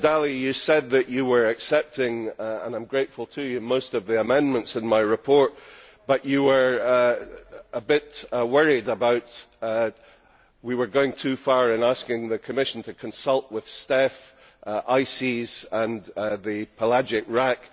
Commissioner Dalli, you said that you were accepting and I am grateful to you most of the amendments in my report, but you were a bit worried that we were going too far in asking the Commission to consult with STECF, ICES and the Pelagic RAC.